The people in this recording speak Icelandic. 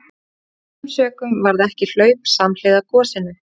Af þessum sökum varð ekki hlaup samhliða gosinu.